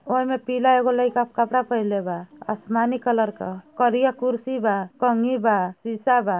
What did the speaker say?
ओइमे पीला एगो लाइका कपड़ा पहेनले बा आसमानी कलर का करिया कुर्सी बा कंघी बा शीशा बा।